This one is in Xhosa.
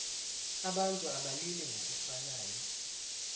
abantu abalili ngokufanayo